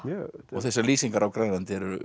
og þessar lýsingar á Grænlandi eru